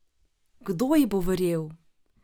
Kdo ji bo verjel?